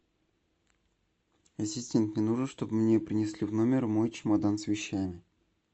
ассистент мне нужно чтобы мне принесли в номер мой чемодан с вещами